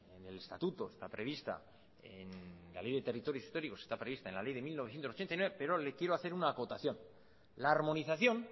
en el estatuto está prevista en la ley de territorios históricos está prevista en la ley de mil novecientos ochenta y nueve pero le quiero hacer una acotación la armonización